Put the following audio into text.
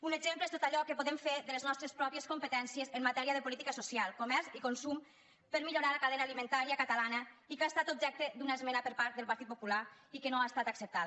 un exemple és tot allò que podem fer de les nostres pròpies competències en matèria de política social comerç i consum per millorar la cadena alimentària catalana i que ha estat objecte d’una esmena per part del partit popular i que no ha estat acceptada